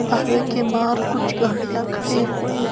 ढाबे के बाहर कुछ गाड़ियां खड़ी हुई --